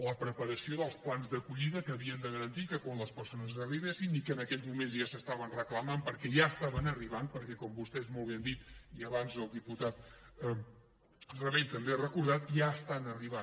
la preparació dels plans d’acollida que havien de garantir que quan les persones arribessin i que en aquells moments ja s’estaven reclamant perquè ja estaven arribant perquè com vostès molt bé han dit i abans el diputat rabell també ho ha recordat ja estan arribant